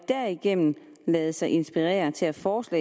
derigennem lade sig inspirere til at foreslå